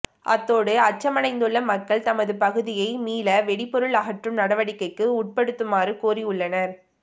அத்தோடு அச்சமடைந்துள்ள மக்கள் தமது பகுதியை மீள வெடிபொருள் அகற்றும் நடவடிக்கைக்கு உட்ப்படுத்துமாறு கோரியுள்ளனர்